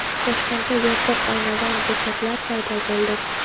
Toshkentda yopiq oynavand bekatlar paydo bo‘ldi.